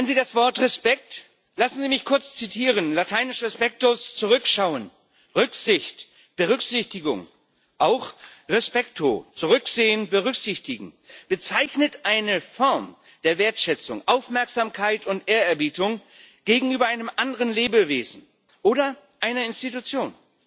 Kennen Sie das Wort Respekt? Lassen Sie mich kurz zitieren lateinisch Zurückschauen, Rücksicht, Berücksichtigung, auch zurücksehen, berücksichtigen, bezeichnet eine Form der Wertschätzung, Aufmerksamkeit und Ehrerbietung gegenüber einem anderen Lebewesen oder einer Institution.